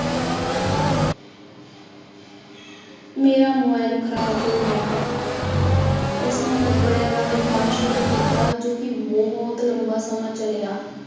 ਮੇਰਾ ਮੋਬਾਇਲ ਖ਼ਰਾਬ ਹੋ ਗਿਆ ਉਸਨੇ ਕੱਪੜਿਆਂ ਦਾ ਵਾਪਾਰ ਸ਼ੁਰੂ ਕੀਤਾ, ਜੋ ਕਿ ਬਹੁਤ ਲੰਬਾ ਸਮਾਂ ਚੱਲਿਆ।